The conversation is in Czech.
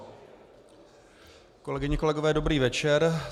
Kolegyně, kolegové, dobrý večer.